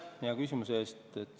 Aitäh hea küsimuse eest!